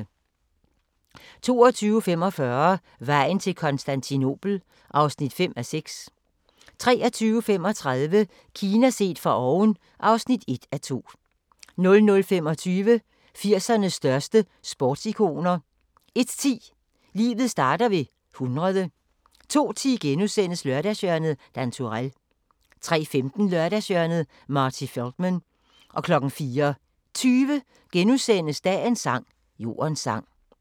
22:45: Vejen til Konstantinopel (5:6) 23:35: Kina set fra oven (1:2) 00:25: 80'ernes største sportsikoner 01:10: Livet starter ved 100 02:10: Lørdagshjørnet - Dan Turèll * 03:15: Lørdagshjørnet - Marty Feldman 04:20: Dagens sang: Jordens sang *